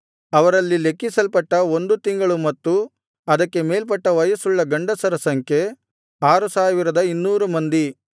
ಅವರಲ್ಲಿ ಲೆಕ್ಕಿಸಲ್ಪಟ್ಟ ಒಂದು ತಿಂಗಳು ಮತ್ತು ಅದಕ್ಕೆ ಮೇಲ್ಪಟ್ಟ ವಯಸ್ಸುಳ್ಳ ಗಂಡಸರ ಸಂಖ್ಯೆ 6200 ಮಂದಿ